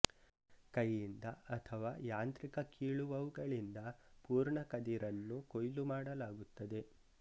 ಕೈಯಿಂದ ಅಥವಾ ಯಾಂತ್ರಿಕ ಕೀಳುವವುಗಳಿಂದ ಪೂರ್ಣ ಕದಿರನ್ನು ಕೊಯ್ಲು ಮಾಡಲಾಗುತ್ತದೆ